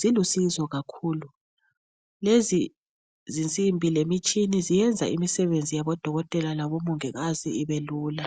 zilusizo kakhulu. Lezi zinsimbi lemitshina zenza imisebenzi yabodokotela labomongikazi ibe lula.